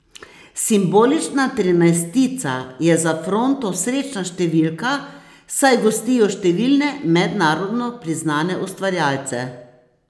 Simbolična trinajstica je za Fronto srečna številka, saj gostijo številne mednarodno priznane ustvarjalce.